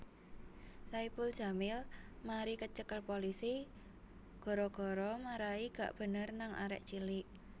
Saipul Jamil mari kecekel polisi gara gara marai gak bener nang arek cilik